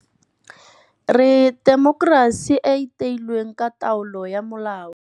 Re temokerasi e e theilweng ka taolo ya molao.